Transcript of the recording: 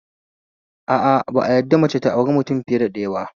A a, ba a yadda mace ta auri fiye da mutum ɗaya ba